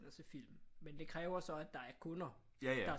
Og se film men det kræver så at der er kunder der